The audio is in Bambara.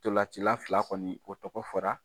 Ntolan cila fila kɔni o tɔgɔ fɔra